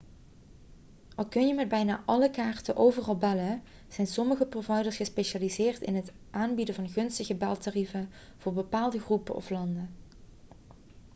al kun je met bijna alle kaarten overal bellen zijn sommige providers gespecialiseerd in het aanbieden van gunstige beltarieven voor bepaalde groepen of landen